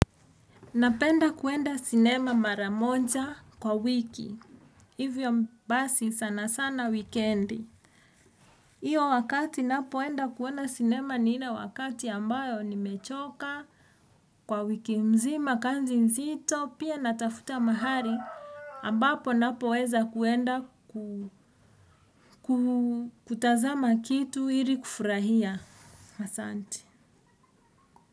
Napenda kuenda sinema maramonja kwa wiki. Hivyo basi sana sana wikendi. Iyo wakati napoenda kuona sinema ni ile wakati ambayo nimechoka kwa wiki mzima, kanzi mzito, pia natafuta mahali. Ambapo napoweza kuenda kutazama kitu ili kufurahia asanti.